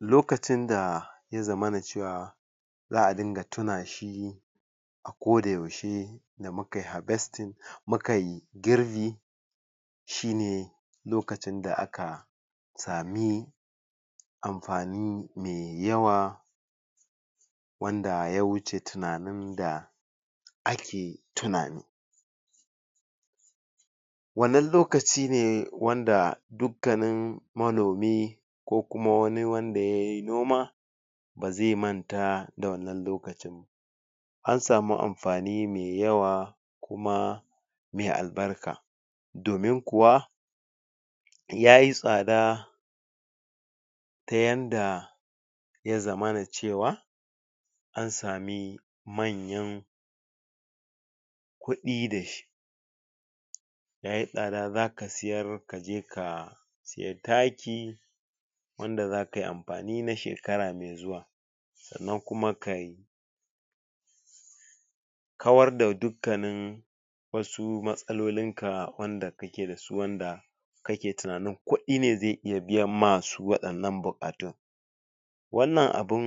lokacin da ya zama cewa za a dinga tunashi a ko da yaushe da mukayi girbi shine lokacin da aka same amfani me yawa wanda ya wuce tunanin da ake tunani wannan lokaci ne wanda dukkanin ko kuma wani wanda yayi noma bazai manta da wannan lokacin ba ansame anfani me yawa kuma me albarka domin kuwa yayi tsada ta yanda ya zamana cewa ansami manyan kudi dashi yayi tsada za ka siyar kaje ka siyi taki wanda zakayi amfani na shekara me zuwa sannan kuma kayi kawar da duk kanin wasu matsalolinka wanda kake dasu wanda kake tunanin kuɗi ne zai iya biyan masu waɗannan buƙatun wanna abun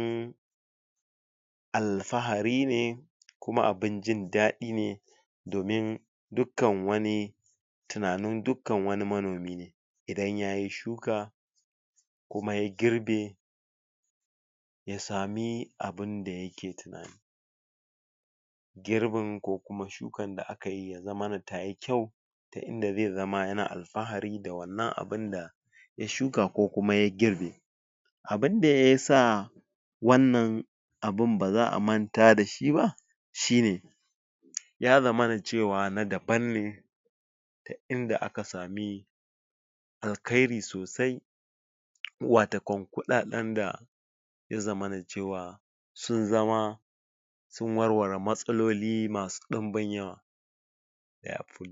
alfahari ne kuma abun indaɗi ne domin dukkan wani tunanin dukan wani manomi ne idan yayi suka kuma ya girbe ya sami abinda yake tunani girbin ko kuma shukan da akai ya zamana tayi kyau ta inda zai zama yana alfahari da wannan abinda ya shuka ko kuma ya girbe abinda yasa wannan abin ba za a manta dashi ba shine ya zamana cewa na daban ne ta inda aka sami alkhairi sosai wata kon kuɗaɗan da ya zamana cewa sun zama sun warware matsaloli masu ɗunbin yawa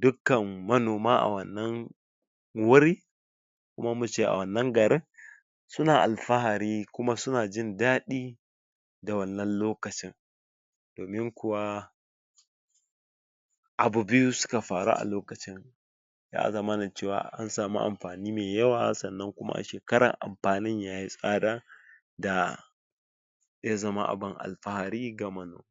dukkan manoma a wannan wuri ko muce a wannan garin suna alfahari kuma suna jindaɗi da wannan lokacin domin kuwa abu biyu suka faru a lokacin ya zamana cewa ansami amfani mai yawa sanna kuma a shekarar anfanin yayi tsada da ya zama abun alfahari ga manoma